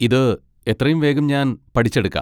ഇത് എത്രയും വേഗം ഞാൻ പഠിച്ചെടുക്കാം.